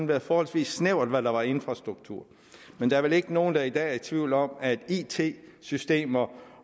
været forholdsvis snævert hvad der var infrastruktur men der er vel ikke nogen der i dag er i tvivl om at it systemer